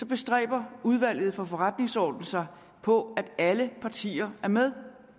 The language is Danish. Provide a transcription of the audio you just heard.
bestræber udvalget for forretningsordenen sig på at alle partier er med